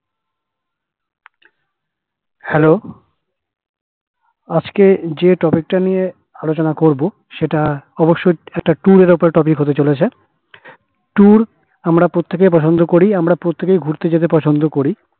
hello আজকে যে topic তা নিয়ে আলোচনা করবো সেটা অবসসই একটা tour এর ওপর হতে চলেছে tour আমরা প্রত্যেকেই পছন্দ করি আমরা প্রত্যেকেই ঘুরতে যেতে পছন্দ করি